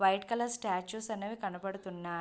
white colour statues అనేవి కనపడుతున్నాయ్ --